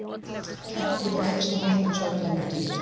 kettir geta veikst rétt eins og öll önnur dýr